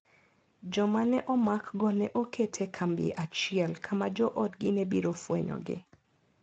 Joma ne omakgo ne oket e kambi achiel, kama joodgi ne biro fwenyogi.